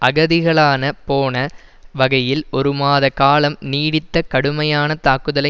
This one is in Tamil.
அகதிகளான போன வகையில் ஒரு மாத காலம் நீடித்த கடுமையான தாக்குதலை